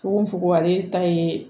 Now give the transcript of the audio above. Fukofugo ale ta ye